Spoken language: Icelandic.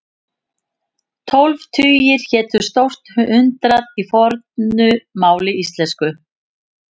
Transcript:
Tólf tugir hétu stórt hundrað í fornu máli íslensku.